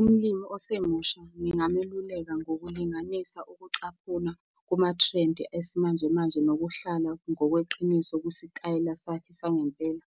Umulimu osemusha ngingameluleka ngokulinganisa ukucaphuna kuma-trend esimanje manje nokuhlala ngokweqiniso kwisitayela sakhe sangempela.